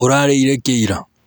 ũrarĩire kĩ ira?